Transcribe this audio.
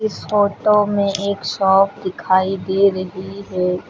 इस फोटो में एक शॉप दिखाई दे रही है।